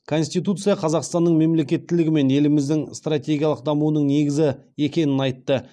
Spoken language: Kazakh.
конституция қазақстанның мемлекеттілігі мен еліміздің стратегиялық дамуының негізі екенін айтты